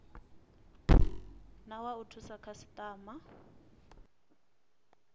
na wa u thusa khasitama